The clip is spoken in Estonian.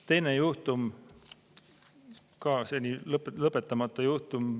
Teine juhtum, ka seni lõpetamata juhtum.